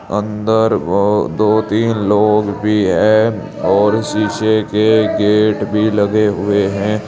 अंदर वो दो तीन लोग भी है और शीशे के गेट भी लगे हुए हैं।